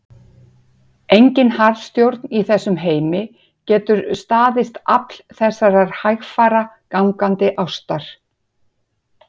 Engin harðstjórn í þessum heimi getur staðist afl þessarar hægfara, gangandi ástar